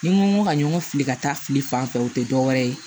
Ni n ko ka ɲɔgɔn fili ka taa fili fan fɛ o tɛ dɔwɛrɛ ye